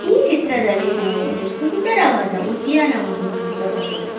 ಈ ಚಿತ್ರದಲ್ಲಿ ನಾವು ಒಂದು ಸುಂದರವಾದ ಉದ್ಯಾನವನ್ನು ನೋಡಬಹುದು.